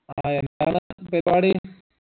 ആ എന്താണ് പരിപാടി